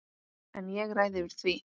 En ég ræð yfir því.